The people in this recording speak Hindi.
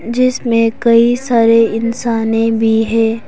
जिसमें कई सारे इंसाने भी है।